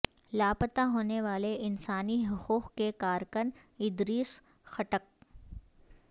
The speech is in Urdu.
لاپتہ ہونے والے انسانی حقوق کے کارکن ادریس خٹک